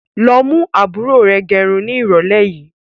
Lọ mú àbúrò rẹ gẹrun ni irọ̀lẹ́ yìí!